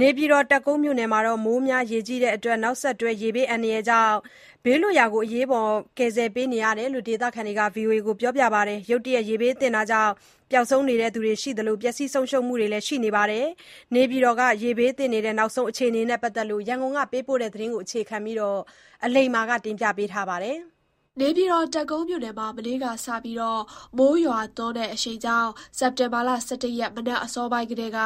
နေပြည်တော်၊ တပ်ကုန်းမြို့နယ်မှာ မိုးများပြီး၊ နောက်ဆက်တွဲ ရေဘေးကြောင့် အရေးပေါ် ဘေးလွတ်ရာ ကယ်ဆယ်ပေးနေရတယ်လို့ ဒေသခံတွေက ပြောပါတယ်။ ရုတ်တရက်ရေဘေးသင့်တာကြောင့် ပျောက်ဆုံးနေသူတွေနဲ့ ပျက်စီးမှုတွေလည်း ရှိနေတယ်လို့ ပြောပါတယ်။ နေပြည်တော်က ရေဘေးနောက်ဆုံးအခြေအနေနဲ့ ပတ်သက်လို့ ရန်ကုန်က သတင်းပေးပို့ ထားတာကို အခြေခံပြီး အလိမ္မာ တင်ပြထားပါတယ်။ တပ်ကုန်းမြို့နယ်မှာ မနေ့ကစပြီး မိုးရွာသွန်းတဲ့အရှိန်ကြောင့် စက်တင်ဘာလ ၁၁ ရက်နေ့ မနက်အစောပိုင်းကတည်းက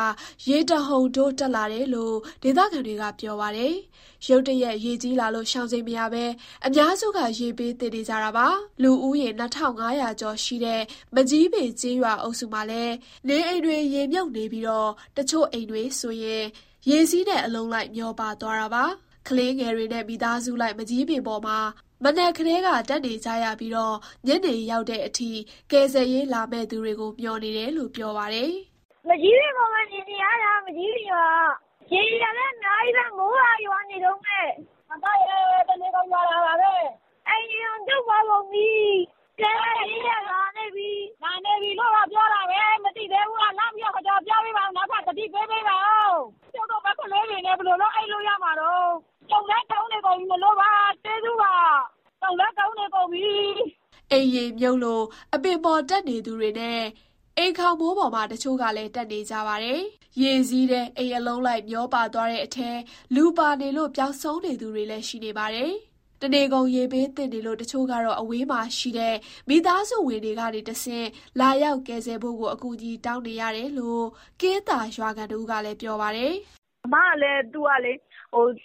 ရေတဟုန်ထိုး တက်လာတယ်လို့ ဒေသခံတွေက ပြောပါတယ်။ ရုတ်တရက်ရေကြီးလာလို့ ရှောင်ချိန်မရဘဲ အများစုက ရေဘေးသင့်နေကြတာပါ။ လူဦးရေ ၂,၅၀၀ ကျော်ရှိတဲ့ မကျီးပင်ကျေးရွာ အုပ်စုမှာလည်း နေအိမ်တွေရေမြုပ်နေပြီး၊ တချို့နေအိမ်တွေဆို ရေစီးနဲ့အလုံးလိုက် မျောပါသွားတာပါ။ ကလေးငယ်တွေနဲ့ မိသားစုလိုက် မန်ကျည်းပင်ပေါ် မှာ မနက်ကတည်းက တက်နေရပြီး၊ ညနေရောက်တဲ့အထိ ကယ်ဆယ်ရေးလာမယ့် သူတွေကို မျှော်နေတယ်လို့ ပြောပါတယ်။ "မန်ကျည်းပင်ပေါ်ပဲ နေနေရတာ။ မကျီးပင်ရွာက။ ရေတွေကလည်း အများကြီးပဲ။ မိုးကလည်း ရွာနေတုန်းပဲ။ တနေကုန်ရွာတာပါပဲ။ အိမ်တွေတောင် ကျွတ်ပါကုန်ပြီ။ ကယ်ဆယ်ရေးကတော့ လာနေပြီလို့တော့ ပြောတာပဲ။ နောက်ထပ် သတိပေးပေးပါဦး။ ကျုပ်တို့မှာ ကလေးတွေနဲ့ ဘယ်လိုလုပ် အိပ်လို့ရမှာတုန်း။ တုန်လည်း တုန်နေပြီမို့လို့ပါ။" အိမ်ရေမြုပ်လို့ အပင်ပေါ်တက် နေသူတွေနဲ့ အိမ်ခေါင်မိုးပေါ်မှာ တချို့ကလည်း တက်နေကြပါတယ်။ ရေစီးထဲ အိမ်အလုံးလိုက် မျောပါသွားတဲ့အထဲ လူပါနေလို့ ပျောက်ဆုံးသူတွေလည်း ရှိနေပါတယ်။ တနေကုန် ရေဘေးသင့်နေလို့ တချို့ကတော့ အဝေးမှာရှိတဲ့ မိသားစုဝင်တွေ ကနေတဆင့် လာရောက်ကယ်ဆယ်ဖို့ကို အကူအညီတောင်းနေရတယ်လို့ ကင်းသာရွာခံ တဦးကလည်း ပြောပါတယ်။ "အစ်မကလည်း သူကလေ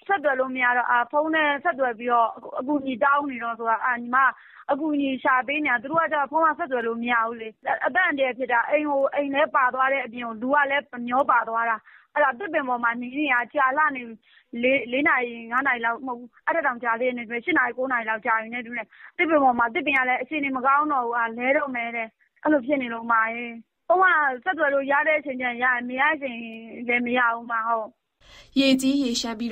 ဆက်သွယ်လို့မရတော့ ဖုန်းနဲ့ဆက်သွယ်ပြီးတော့ အကူအညီတောင်းပေးပါဆိုလို့ ညီမက အကူအညီရှာပေးနေတာ။ သူတို့က ဖုန်းကဆက်သွယ်လို့ မရဘူးလေ။ အသက်အန္တရာယ် ဖြစ်နေတာ။ အိမ်လည်းပါသွားတဲ့အပြင် လူကလည်း မျောပါသွားတာ။ အဲဒါ သစ်ပင်ပေါ်မှာ နေနေတာ ကြာလှနေပြီ။ ၄နာရီ၊ ၅နာရီ မကဘူး။ အဲထက်တောင် ကြာသေးတယ်။ ၈နာရီ၊ ၉နာရီလောက် ကြာပြီနဲ့တူတယ်။ သစ်ပင်ကလည်း အခြေအနေ မကောင်းတော့ဘူး၊ လဲတော့မယ်တဲ့။ ဖုန်းက ဆက်သွယ်လို့ရတဲ့ အချိန်ကျရတယ်။ မရတဲ့အချိန်လည်း မရဘူး။" ရေကြီးရေလျှံပြီး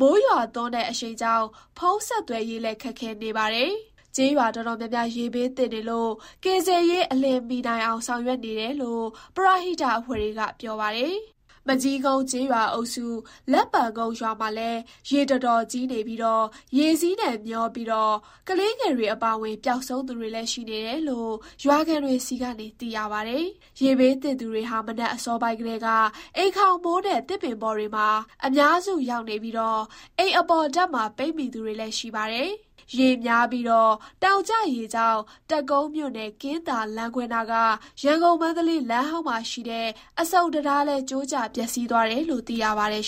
မိုးရွာသွန်းတဲ့အရှိန်ကြောင့် ဖုန်းဆက်သွယ်ရေးလည်း ခက်ခဲနေပါတယ်။ ကျေးရွာတော်တော်များများ ရေဘေးသင့်နေလို့ ကယ်ဆယ်ရေး အလျင်မီနိုင်အောင် ဆောင်ရွက်နေတယ်လို့ ပရဟိတအဖွဲ့တွေက ပြောပါတယ်။ မကျီးကုန်းကျေးရွာအုပ်စု၊ လက်ပံကုန်းရွာမှာလည်း ရေတော်တော်ကြီးနေပြီး၊ ရေစီးနဲ့မျောပြီး ကလေးငယ်တွေ အပါအဝင် ပျောက်ဆုံးသူတွေလည်း ရှိနေတယ်လို့ ရွာခံတွေဆီက သိရပါတယ်။ ရေဘေးသင့်သူတွေဟာ မနက်အစောပိုင်းကတည်းက အိမ်ခေါင်မိုးနဲ့ သစ်ပင်တွေပေါ်မှာ အများစုရောက်နေပြီး၊ အိမ်အပေါ်ထပ်မှာ ပိတ်မိသူတွေလည်း ရှိပါတယ်။ မိုးများပြီး တောင်ကျရေကြောင့် တပ်ကုန်းမြို့နယ်၊ ကင်းသာလမ်းခွဲနားက ရန်ကုန်-မန္တလေး လမ်းဟောင်းမှာရှိတဲ့ အဆုံတံတားလည်း ကျိုးကျပျက်စီးသွားတယ်လို့ သိရပါတယ်